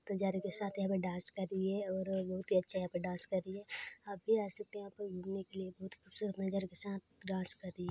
बंजारे के साथ यहाँ पे डांस कर रही है और बहुत ही अच्छा यहाँ पे डांस कर रही है आप भी आ सकते है यहाँ पे घूमने के लिए बहुत खूबसूरत नज़ारे के साथ डांस कर रही है।